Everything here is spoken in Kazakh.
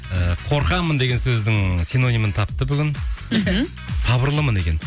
ыыы қорқамын деген сөздің синонимнің тапты бүгін сабырлымын екен